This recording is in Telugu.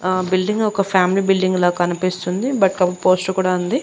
ఆ బిల్డింగ్ ఒక ఫ్యామిలీ బిల్డింగ్ లా కనిపిస్తుంది బట్ పోస్టర్ కూడా ఉంది.